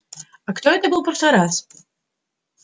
а кто это был в прошлый раз